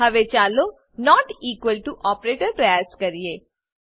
હવે ચાલો not equal to operator પ્રયાસ કરીએ